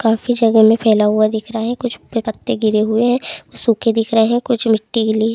काफी जगह में फैला हुआ दिख रहा है कुछ पत्ते गिरे हुए है सूखे दिख रहे है। कुछ मिट्टी गीली--